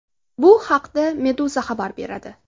Bu haqda Meduza xabar beradi .